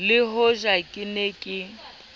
le hoja ke ne ke